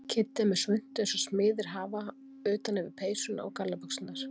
Kiddi er með svuntu eins og smiðir hafa utan yfir peysuna og gallabuxurnar.